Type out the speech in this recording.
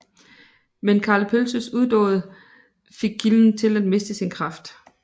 Men Karl Pølses udåd fik kilden til at miste sin kraft